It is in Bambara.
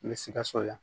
N bɛ sikaso yan